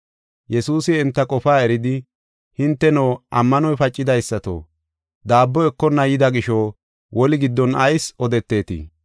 Yesuus enta qofaa eridi, “Hinteno, ammanoy pacidaysato! Daabbo ekonna yida gisho woli giddon ayis odeteetii?